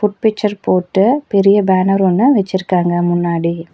Picture போட்டு பெரிய banner ஒன்னு வச்சிருக்காங்க முன்னாடி.